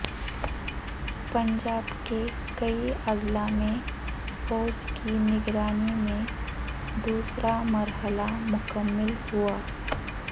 پنجاب کے کئی اضلاع میں فوج کی نگرانی میں دوسرا مرحلہ مکمل ہوا